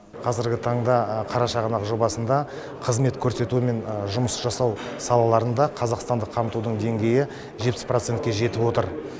қазіргі таңда қарашығанақ жобасында қызмет көрсету мен жұмыс жасау салаларында қазақстандық қамтудың деңгейі жетпіс процентке жетіп отыр